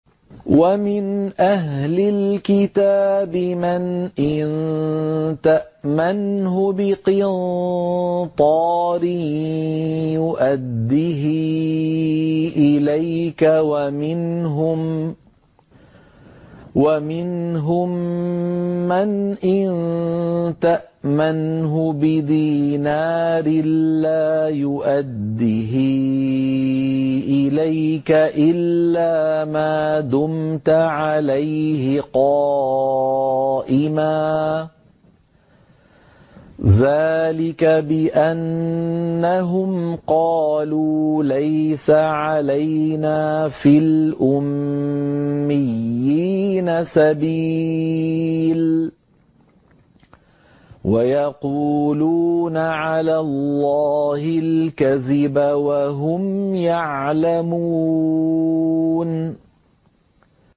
۞ وَمِنْ أَهْلِ الْكِتَابِ مَنْ إِن تَأْمَنْهُ بِقِنطَارٍ يُؤَدِّهِ إِلَيْكَ وَمِنْهُم مَّنْ إِن تَأْمَنْهُ بِدِينَارٍ لَّا يُؤَدِّهِ إِلَيْكَ إِلَّا مَا دُمْتَ عَلَيْهِ قَائِمًا ۗ ذَٰلِكَ بِأَنَّهُمْ قَالُوا لَيْسَ عَلَيْنَا فِي الْأُمِّيِّينَ سَبِيلٌ وَيَقُولُونَ عَلَى اللَّهِ الْكَذِبَ وَهُمْ يَعْلَمُونَ